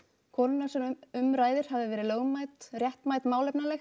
konunnar sem um ræðir hafi verið lögmæt réttmæt málefnaleg